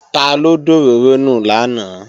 Taló dòróró nù lánàá?